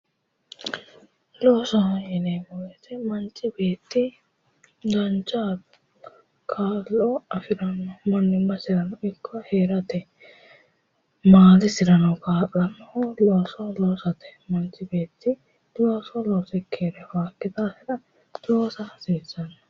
Loosoho yineemo woyite manchi beetti dancha kaa'lo afiranno mannimmasirano ikko heerate maatesirano kaa'lannohu looso loosate manchi beetti looso loosikki heere afaakki daafira loosa hasiissanno